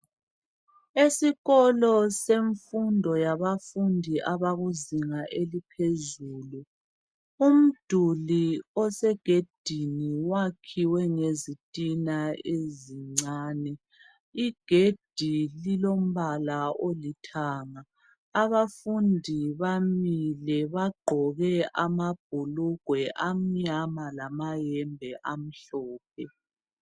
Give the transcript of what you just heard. Esikolo semfundo yabafundi abakuzinga eliphezulu umduli osegedini wakhiwe ngezitina ezincane, igedi lilombala olithanga, abafundi bamile bagqoke amabhulugwe amnyama lamayembe amhlophe.